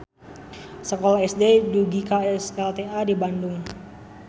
Sakola SD dugika SLTA di Bandung.